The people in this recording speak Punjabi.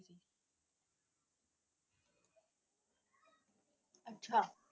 ਅੱਛਾ।